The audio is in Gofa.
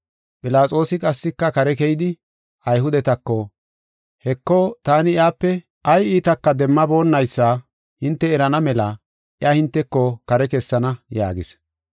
Philaxoosi qassika kare keyidi, Ayhudetako, “Heko, taani iyape ay iitaka demmaboonnaysa hinte erana mela iya hinteko kare kessana” yaagis.